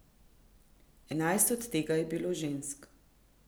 Enajst od tega je bilo žensk.